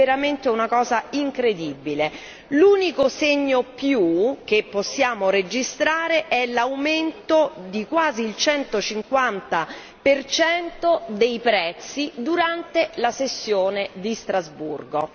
È veramente una cosa incredibile, l'unico segno più, che possiamo registrare è l'aumento di quasi il 150 dei prezzi durante la sessione di Strasburgo.